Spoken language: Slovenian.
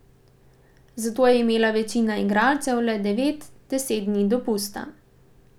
Zato je imela večina igralcev le devet, deset dni dopusta.